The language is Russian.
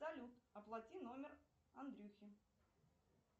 салют оплати номер андрюхи